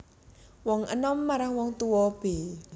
Wong enom marang wong tuwa b